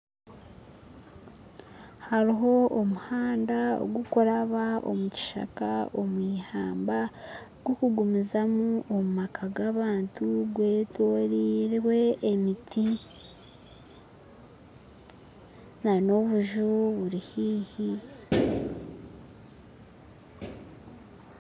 Hariho omuhanda ogukuraba omu kishaaka omw'ihamba gukugumiizamu omu maka g'abantu gwetorirwe emiti na n'obuju buri haihi